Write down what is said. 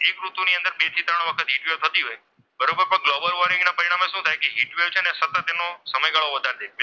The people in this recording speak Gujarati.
ની અંદર બે થી ત્રણ વખત હિટ વેવ થતી હોય છે. બરોબર ગ્લોબલ વોર્મિંગના પરિણામે શું થાય છે ને સતત એમાં સમયગાળો વધારી દે.